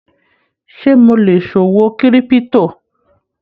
Ṣe mo lè ṣòwò kírípútò?